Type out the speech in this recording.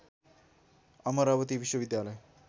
अमरावती विश्वविद्यालय